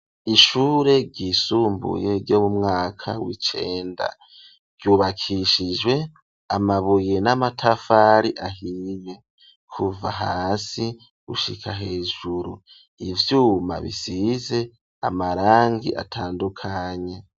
Ishure ryisumbuye ryo mu mwaka w'icenda ryubakishijwe amabuye n'amatafari ahiwe kuva hasi gushika hejuru ivyuma bisize amarangi atandukanye.